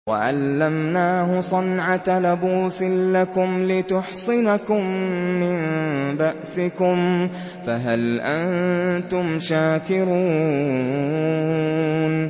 وَعَلَّمْنَاهُ صَنْعَةَ لَبُوسٍ لَّكُمْ لِتُحْصِنَكُم مِّن بَأْسِكُمْ ۖ فَهَلْ أَنتُمْ شَاكِرُونَ